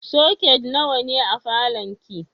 Soket nawa ne a falon ki?